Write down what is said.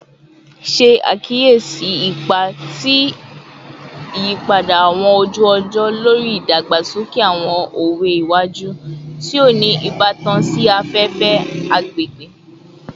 Ṣe akiyesi ipa ti iyipada awọn oju-ọjọ lori idagbasoke awọn owe iwaju ti o ni ibatan si afefe / agbegbe